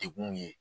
Degun ye